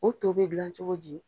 O to bɛ dilan cogo ji?